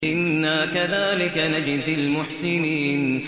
إِنَّا كَذَٰلِكَ نَجْزِي الْمُحْسِنِينَ